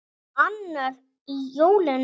Annar í jólum.